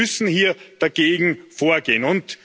Wir müssen hier dagegen vorgehen.